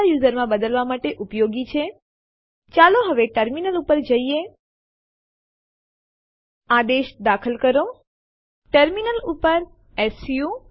ચાલો એક ઉદાહરણ જોઈએ ચાલો ટેસ્ટડિર ડિરેક્ટરીના તમામ સમાવિષ્ટોને ટેસ્ટ કહેવાતી ડિરેક્ટરીમાં કોપી કરવાનો પ્રયાસ કરીએ